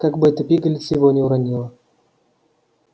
как бы эта пигалица его не уронила